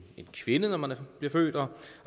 kvinde når man bliver født og